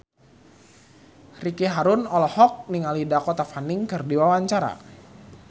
Ricky Harun olohok ningali Dakota Fanning keur diwawancara